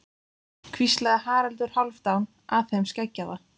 hvíslaði Haraldur Hálfdán að þeim skeggjaða.